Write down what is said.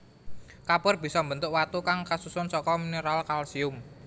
Kapur bisa mbentuk watu kang kasusun saka mineral kalsium